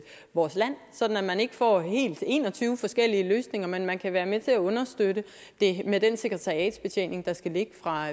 vores land sådan at man ikke får hele en og tyve forskellige løsninger men at man kan være med til at understøtte det med den sekretariatsbetjening der skal ligge fra